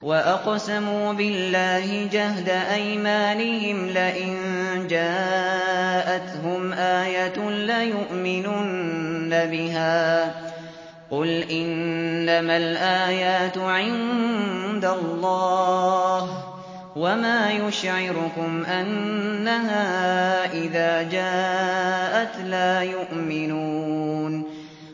وَأَقْسَمُوا بِاللَّهِ جَهْدَ أَيْمَانِهِمْ لَئِن جَاءَتْهُمْ آيَةٌ لَّيُؤْمِنُنَّ بِهَا ۚ قُلْ إِنَّمَا الْآيَاتُ عِندَ اللَّهِ ۖ وَمَا يُشْعِرُكُمْ أَنَّهَا إِذَا جَاءَتْ لَا يُؤْمِنُونَ